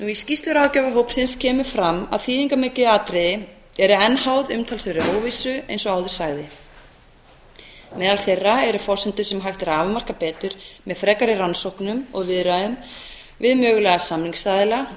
í skýrslu ráðgjafarhópsins kemur fram að þýðingarmikil atriði eru enn háð umtalsverðri óvissu eins og áður sagði meðal þeirra eru forsendur sem hægt er að afmarka betur með frekari rannsóknum og viðræðum við mögulega samningsaðila